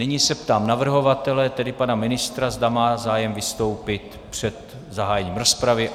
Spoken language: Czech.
Nyní se ptám navrhovatele, tedy pana ministra, zda má zájem vystoupit před zahájením rozpravy.